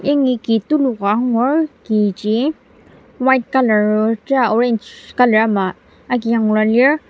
yangi ki tulu ka angur kiji white colour o tera orange colour ama agi yanglua lir.